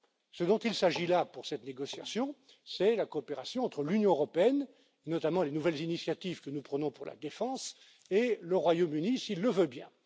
Ce dont il s'agit là, pour cette négociation, c'est la coopération entre l'Union européenne, notamment les nouvelles initiatives que nous prenons pour la défense, et le Royaume Uni, s'il le veut bien.